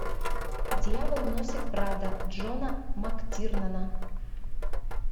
дьявол носит прада джона мактирнана